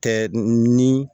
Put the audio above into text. Tɛ ni